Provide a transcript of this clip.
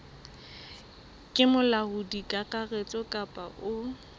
ke molaodi kakaretso kapa o